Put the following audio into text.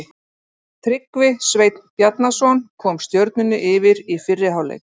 Tryggvi Sveinn Bjarnason kom Stjörnunni yfir í fyrri hálfleik.